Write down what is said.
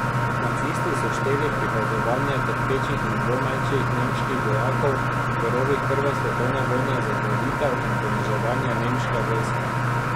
Nacisti so šteli prikazovanje trpečih in dvomečih nemških vojakov v rovih prve svetovne vojne za žalitev in poniževanje nemške vojske.